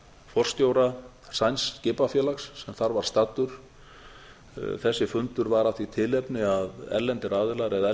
forstjóra sænsks skipafélags sem þar var staddur þessi fundur var af því tilefni að erlendir aðilar eða